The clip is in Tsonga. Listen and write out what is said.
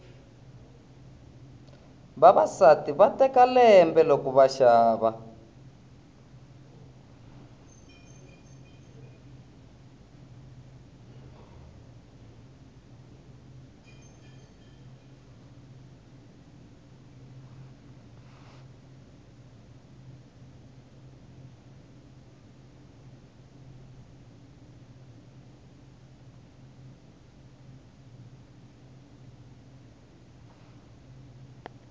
vavasati va teka lembe loko va xava